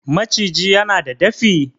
maciji yana da dafi?